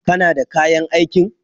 Kana da kayan aikin?